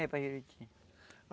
É, para Juruti.